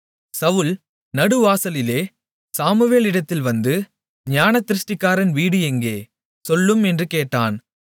சவுல் நடுவாசலிலே சாமுவேலிடத்தில் வந்து ஞானதிருஷ்டிக்காரன் வீடு எங்கே சொல்லும் என்று கேட்டான்